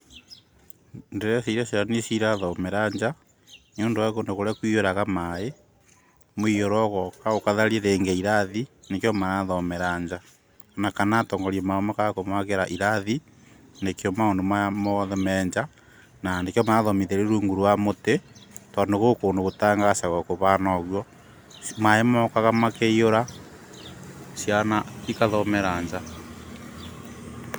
Ndĩreciria ciana nĩcio cirathomera nja, nĩũndũ wa kũndũ kũrĩa kũihũraga maaĩ, mũihũro ũgoka ũgatharia rĩngĩ irathi, nĩkĩo marathomera nja. Kana atongoria mao makaga kũmakĩra irathi nĩkĩo maũndũ maya mothe me nja, na nĩkĩo marathomithĩrio rungu rwa mũtĩ, tondũ gwĩ kũndũ gũtangacagwo kũvana ũguo, maaĩ mokaga makaihũra ciana igathomera nja.